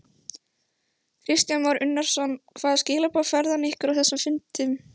Kristján Már Unnarsson: Hvaða skilaboð færði hann ykkur á þessum fundi?